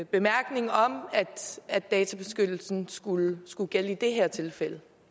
bemærkning om at databeskyttelsen skulle skulle gælde i det her tilfælde